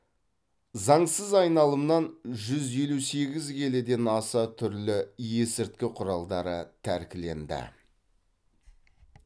заңсыз айналымнан жүз елу сегіз келіден аса түрлі есірткі құралдары тәркіленді